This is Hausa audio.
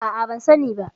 A'a, ban sani ba.